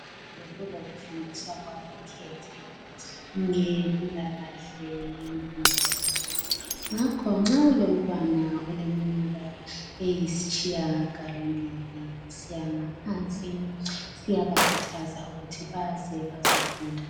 Bekulokufundiswa kwabokhekhe ngempilakahle yenkimba yabo ngakho nxa ulomntwana oleminyaka eyisitshiyagalombili kusiyagaphansi siyabakhuthaza ukuthi baze bazofunda